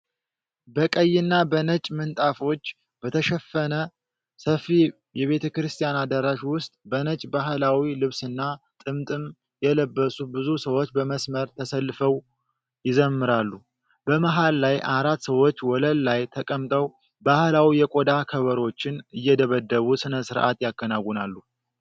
በቀይና በነጭ ምንጣፎች በተሸፈነ ሰፊ የቤተክርስቲያን አዳራሽ ውስጥ፣ በነጭ ባህላዊ ልብስና ጥምጥም የለበሱ ብዙ ሰዎች በመስመር ተሰልፈው ይዘምራሉ። በመሃል ላይ አራት ሰዎች ወለል ላይ ተቀምጠው ባህላዊ የቆዳ ከበሮዎችን እየደበደቡ ሥነ ሥርዓት ያከናውናሉ።